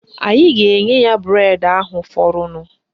Anyị ga-enye ya bụredi ahụ fọrọnụ